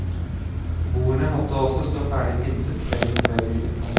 Bordene måtte også stå ferdig pyntet kvelden før bryllupet.